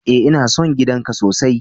E, ina son gidan ka sosai.